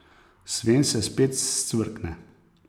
Sven se spet scvrkne.